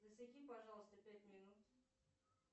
засеки пожалуйста пять минут